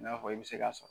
I n'a fɔ i bɛ se ka sɔrɔ